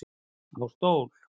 Á stól